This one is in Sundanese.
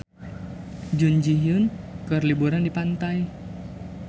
Jun Ji Hyun keur liburan di pantai